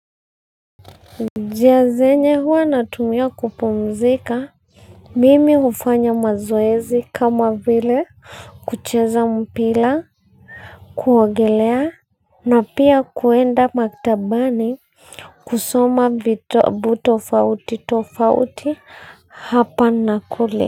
Njia zenye huwa natumia kupumzika. Mimi hufanya mazoezi kama vile kucheza mpira. Kuogelea na pia kuenda maktabani. Kusoma vitabu tofauti tofauti hapa na kule.